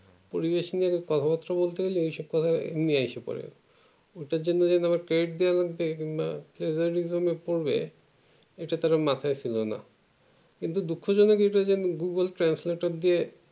পরিবেশ নিয়ে কথাবার্ত্তা বলতে গেলে এই সব কথা এমনি আইসা পরে ওটার জন্য আমার আবার credit দেয়া বা বা terrorism এ পরবে এইটা তার মাথায় ছিল না কিন্তু দুঃখ জনক এটা যে google translator দিয়ে